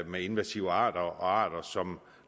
med invasive arter og arter som